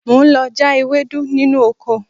Mo ń lọ já ewédú nínú oko